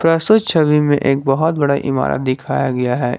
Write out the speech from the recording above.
प्रस्तुत छवि में एक बहुत बड़ा इमारत दिखाया गया है।